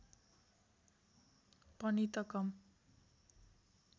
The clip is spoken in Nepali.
पनि त कम